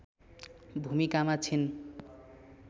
भूमिकामा छिन्